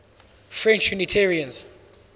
french unitarians